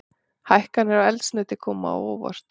Hækkanir á eldsneyti koma á óvart